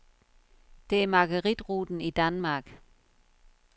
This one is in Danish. Det er maguerit-ruten i Danmark.